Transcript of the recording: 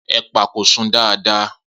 Epa ko sun dada